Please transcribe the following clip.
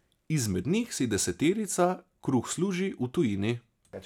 Izmed njih si deseterica kruh služi v tujini.